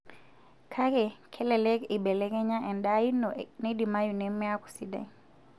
Kake kelelek eibelekenya endaa ino neidimayu neme aaku sidai.